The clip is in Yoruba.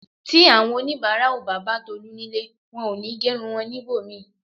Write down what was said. Tí àwọn onibara ó bá bà Tolu nílé, wón òní gerun wón ní ibòmíì